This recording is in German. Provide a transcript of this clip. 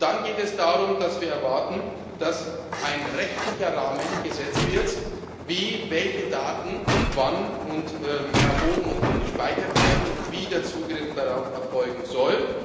wollen. Und dann geht es darum, dass wir erwarten, dass ein rechtlicher Rahmen gesetzt wird, wie welche Daten wann erhoben und gespeichert werden und wie der Zugriff darauf erfolgen